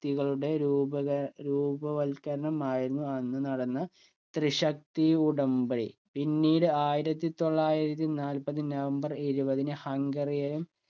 തികളുടെ രൂപകര രൂപവൽക്കരണം ആയിരുന്നു അന്ന് നടന്ന ത്രിശക്തി ഉടമ്പടി പിന്നീട് ആയിരത്തി തൊള്ളായിരത്തി നാൽപത് നവംബർ ഇരുപതിന്‌ ഹംഗറി യെയും